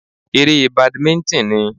Eré badimíńtìn ni